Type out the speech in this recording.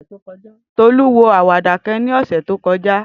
Tolu wo awada kan ni ose to koja.